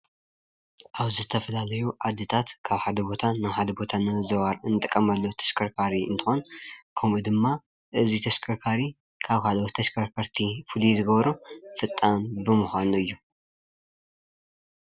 ኣብዚ ዝተፈላለዩ ዓድታት ካብ ሓደ ቦታ ናብ ሓደ ቦታ ንምዝውዋር እንጥቀመሉ ተሽከርካሪ እንትኾን ከሙኡ ድማ ፣ እዚ ተሽከርካሪ ካብ ካልኦት ተሽከርከርቲ ፍሉይ ዘብሎ ፈጣን ብምዃኑ እዩ።